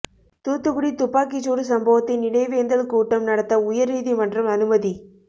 தூத்துக்குடி துப்பாக்கிச்சூடு சம்பவத்தின் நினைவேந்தல் கூட்டம் நடத்த உயர் நீதிமன்றம் அனுமதி